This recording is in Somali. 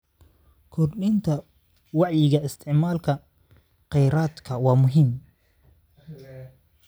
Kordhinta wacyiga isticmaalka kheyraadka waa muhiim.